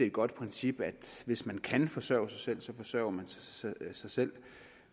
et godt princip at hvis man kan forsørge sig selv så forsørger man sig selv